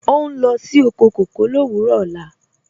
Ọ n lọ sí oko kọkọ ni owurọ ọ̀la.